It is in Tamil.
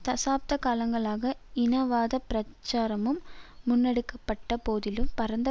தசாப்த காலங்களாக இனவாத பிரச்சாரமும் முன்னெடுக்க பட்ட போதிலும் பரந்த